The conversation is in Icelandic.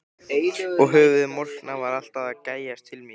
Og höfuðið morkna var alltaf að gægjast til mín.